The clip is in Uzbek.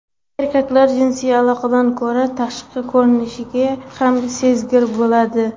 Erkaklar jinsiy aloqadan ko‘ra tashqi ko‘rinishiga kam sezgir bo‘lishadi.